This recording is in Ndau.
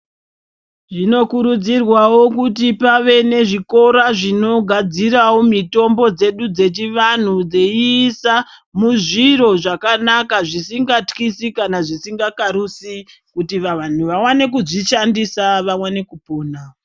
Zvinokurudzirwawo kuti pave nezvikora zvinogadzirawo mitombo dzedu dzechivanhu dzeisa muzviro zvakanaka zvisingatyisi kana zvisingakarusi kuti vanhu vawane kuzvishandisa vawane kupona.